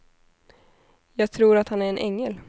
Jag tror att han är en ängel.